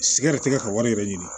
Sigaratikɛ ka wari yɛrɛ ɲini